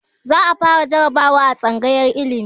Za a fara jarabawa a tsangayar ilimi